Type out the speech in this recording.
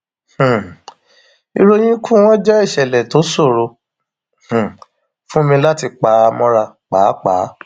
um ìròyìn ikú wọn jẹ ìṣẹlẹ tó ṣòro um fún mi láti pa mọra páàpáà